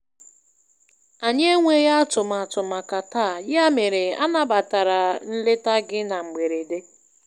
Anyị enweghị atụmatụ màkà taa, ya mere anabatara nleta gị na mgberede.